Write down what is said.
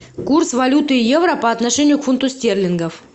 курс валюты евро по отношению к фунту стерлингов